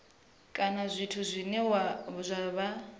kana zwithu zwine zwa vha